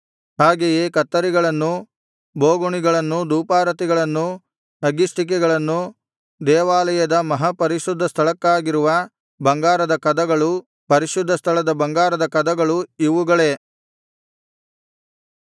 ಹಾಗೆಯೇ ಕತ್ತರಿಗಳನ್ನೂ ಬೋಗುಣಿಗಳನ್ನೂ ಧೂಪಾರತಿಗಳನ್ನೂ ಅಗ್ಗಿಷ್ಟಿಕೆಗಳನ್ನು ದೇವಾಲಯದ ಮಹಾಪರಿಶುದ್ಧ ಸ್ಥಳಕ್ಕಾಗಿರುವ ಬಂಗಾರದ ಕದಗಳು ಪರಿಶುದ್ಧ ಸ್ಥಳದ ಬಂಗಾರದ ಕದಗಳು ಇವುಗಳೇ